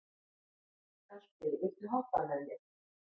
Galti, viltu hoppa með mér?